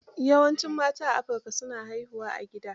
Yawancin mata a Afrika, su na haihuwa a gida.